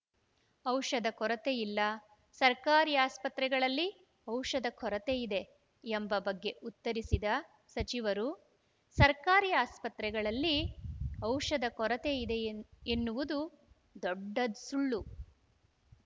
ಔಷಧ ಕೊರತೆ ಇಲ್ಲ ಸರ್ಕಾರಿ ಆಸ್ಪತ್ರೆಗಳಲ್ಲಿ ಔಷಧ ಕೊರತೆ ಇದೆ ಎಂಬ ಬಗ್ಗೆ ಉತ್ತರಿಸಿದ ಸಚಿವರು ಸರ್ಕಾರಿ ಆಸ್ಪತ್ರೆಗಳಲ್ಲಿ ಔಷಧ ಕೊರತೆ ಇದೆ ಎನ್ನುವುದು ದೊಡ್ಡ ಸುಳ್ಳು